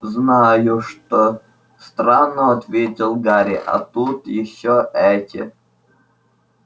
знаю что странно ответил гарри а тут ещё эти